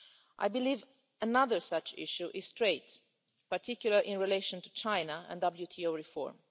I believe another such issue is trade, particularly in relation to China and World Trade Organisation reform.